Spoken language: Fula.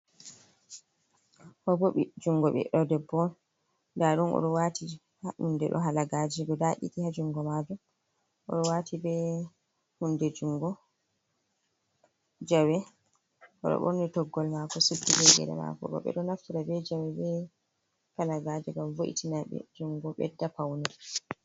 Ɗobo jungo ɓiɗɗo debbo on nda ɗum oɗo wati hunde ɗo halagaje guda ɗiɗi ha jungo mako. Oɗo wati be hunde jungo jawe oɗo ɓorni toggol mako suddi be gele mako. Ɓeɗo naftira be jawe be halagaje ngam vo’itinaɓe jungo ɓedda paune.